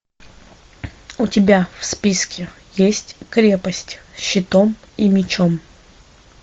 у тебя в списке есть крепость с щитом и мечом